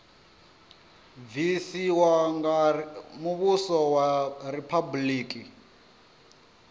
bvisiwa nga muvhuso wa riphabuliki